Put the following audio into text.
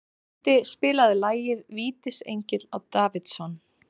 Mundi, spilaðu lagið „Vítisengill á Davidson“.